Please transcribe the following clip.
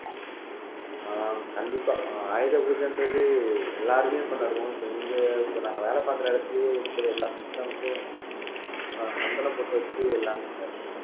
ஆஹ் கண்டிப்பா ஆயுத பூஜைன்றது எல்லாருமே கொண்டாடுவோம் so இங்க இப்ப நாங்க வேலை பாக்குற இடத்திலயே இருக்கிற எல்லா systems சந்தன பொட்டு வச்சு எல்லாமே கொண்டாடிட்டு இருப்போம்